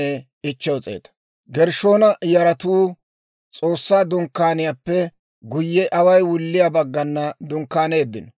Gershshoona yaratuu S'oossaa Dunkkaaniyaappe guyye away wulliyaa baggana dunkkaaniino.